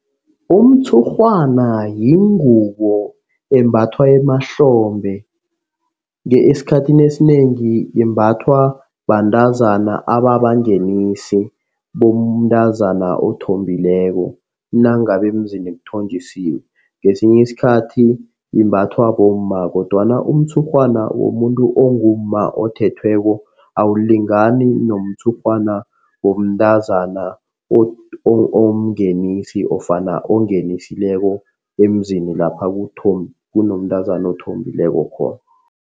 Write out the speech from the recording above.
Umtshurhwana yingubo embathwa emahlombe. Esikhathini esinengi imbathwa bantazana ababangenisi bomntazana othombileko. Nangabe emzini kuthonjisiwe ngesinye isikhathi imbathwa bomma kodwana umtshurhwana womuntu ongumma othethweko awulingani nomtshurhwana womntazana omngenisi nofana ongenisileko emzini lapha kunomntazana othombileko khona.